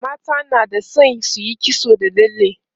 mata na da San suyi kitso da lalle